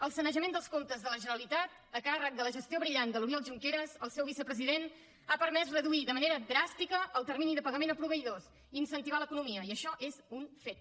el sanejament dels comptes de la generalitat a càrrec de la gestió brillant de l’oriol junqueras el seu vicepresident ha permès reduir de manera dràstica el termini de pagament a proveïdors i incentivar l’economia i això és un fet